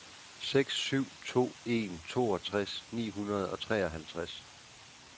seks syv to en toogtres ni hundrede og treoghalvtreds